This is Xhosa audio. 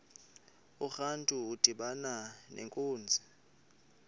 urantu udibana nenkunzi